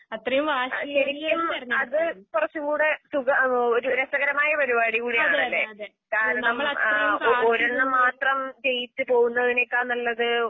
ശരിക്കും അത്കുറച്ചുംകൂടെ സുഖ ഓഹ് രസകരമായപരിപാടികൂടിയാണ്. കാരണം ആഹ് ഒഒരെണ്ണംമാത്രം ജയിച്ച്പോവുന്നതിനേക്കാൾനല്ലത്